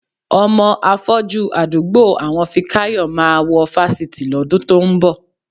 Ọmọ afọ́jú àdúgbò àwọn Fikáyọ̀ máa wọ fásitì lọ́dún tó ń bọ̀.